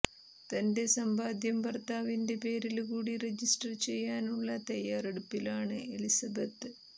തന്റെ സമ്പാദ്യം ഭര്ത്താവിന്റെ പേരില് കൂടി രജിസ്റ്റര് ചെയ്യാനുള്ള തയാറെടുപ്പിലാണ് എലിസബത്ത്